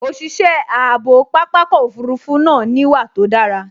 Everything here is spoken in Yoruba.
Òṣìṣẹ́ ààbò pápákọ̀ òfurufú náà níwà tó dára